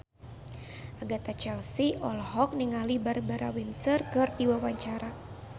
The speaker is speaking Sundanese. Agatha Chelsea olohok ningali Barbara Windsor keur diwawancara